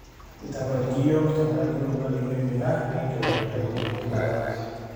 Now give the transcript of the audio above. tapaliki iyiok tenkaraki olola lino oimina, ekinchoru olikae eitu igil alak